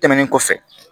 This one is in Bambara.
Tɛmɛnen kɔfɛ